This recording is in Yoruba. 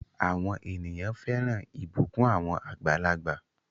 Àwọn ènìyàn fẹ́ràn ìbùkún àwọn àgbàlagbà.